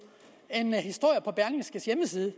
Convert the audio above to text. en historie på berlingskes hjemmeside